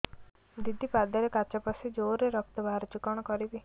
ଦିଦି ପାଦରେ କାଚ ପଶି ଜୋରରେ ରକ୍ତ ବାହାରୁଛି କଣ କରିଵି